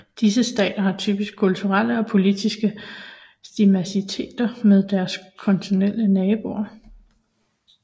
Disse stater har typisk kulturelle og politiske similariteter med deres kontinentale naboer